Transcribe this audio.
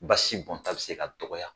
Basibonta bɛ se ka dɔgɔya.